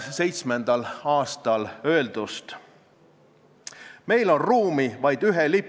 Haridusministeeriumi esindaja nõustus teemapüstitusega, aga tema arvates oleks oluline, et eelnõus oleks eristatud juriidiline ja füüsiline isik.